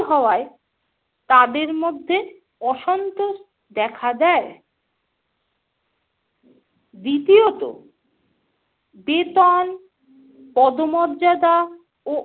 হওয়ায় তাদের মধ্যে অসন্তোষ দেখা দেয়। দ্বিতীয়ত - বেতন, পদমর্যাদা ও